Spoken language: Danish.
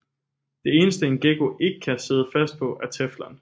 Det eneste en gekko ikke kan sidde fast på er teflon